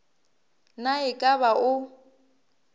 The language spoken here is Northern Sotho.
na e ka ba o